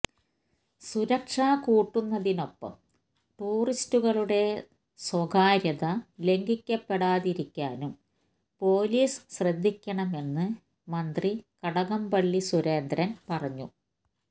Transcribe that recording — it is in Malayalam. സുരക്ഷ കൂട്ടുന്നതിനൊപ്പം ടൂറിസ്റ്റുകളുടെ സ്വകാര്യത ലംഘിക്കപ്പെടാതിരിക്കാനും പൊലീസ് ശ്രദ്ധിക്കണമെന്ന് മന്ത്രി കടകംപള്ളി സുരേന്ദ്രന് പറഞ്ഞു